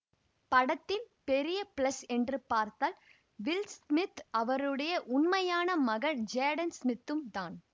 படத்தின் பெரிய பிளஸ் என்று பார்த்தால் வில் ஸ்மித்ம் அவருடைய உண்மையான மகன் ஜேடன் சிமித்தும் தான்